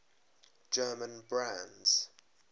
german brands